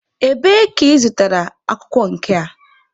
Ebee ka ị zụtara akwụkwọ nke a?